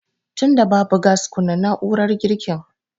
Tunda babu gas kunna na'urar girkin